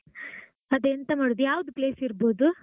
ಅದೇ ಎಂತ ಮಾಡುದು ಯಾವ್ದು place ಇರ್ಬೋದು?